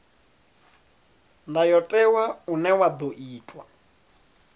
ndayotewa une wa ḓo itwa